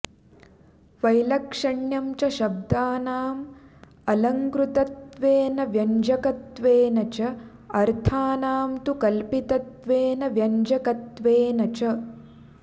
वैलक्षण्यं च शब्दानाम् अलङ्कृतत्वेन व्यञ्जकत्वेन च अर्थानां तु कल्पितत्वेन व्यञ्जकत्वेन च